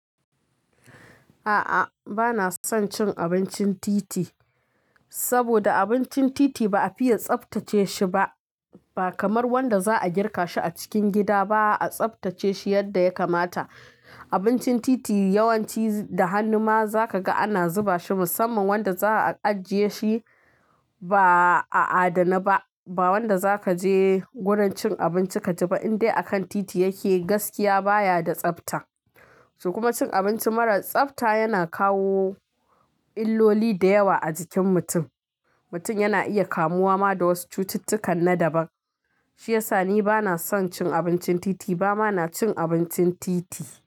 A'a, bana son cin abincin titi. Saboda abincin titi ba a fiye tsaftace shi ba. Ba kamar wanda za a girka shi a cikin gida ba a tsaftace shi yadda ya kamata. Abincin titi yawanci da hannu ma za ka ga ana zuba shi musamman wanda za a ajiye shi ba a adana ba. Ba wanda za ka je wurin cin abinci ka ci ba indai akan titi yake, gaskiya baya da tsafta. So kuma cin abinci mara tsafta yana kawo illoli da yawa a jikin mutum. Mutum yana iya kamuwa ma da wasu cututtukan na daban. Shi yasa ni bana son cin abincin titi ba ma na cin abincin titi.